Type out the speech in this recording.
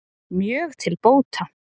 Mjög til bóta